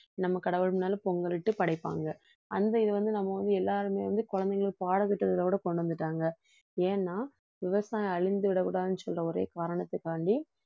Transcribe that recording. நம்ம கடவுள் முன்னால பொங்கலிட்டு படைப்பாங்க அந்த இது வந்து நம்ம வந்து எல்லாருமே வந்து குழந்தைங்களுக்கு பாடத்திட்டத்தில கூட கொண்டு வந்துட்டாங்க ஏன்னா விவசாயம் அழிஞ்சு விடக்கூடாதுன்னு சொல்ற ஒரே காரணத்துக்காக வேண்டி